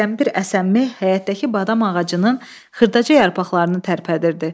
Təkdən bir əsən meh həyətdəki badam ağacının xırdaca yarpaqlarını tərpədirdi.